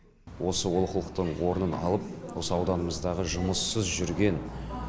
осы олқылықтың орнын алып осы ауданымыздағы жұмыссыз жүрген